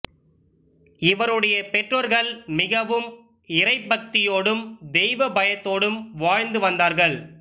இவருடைய பெற்றோர்கள் மிகவும் இறைப்பக்தியோடும் தெய்வப் பயத்தோடும் வாழ்ந்து வந்தார்கள்